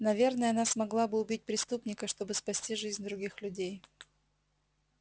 наверное она смогла бы убить преступника чтобы спасти жизнь других людей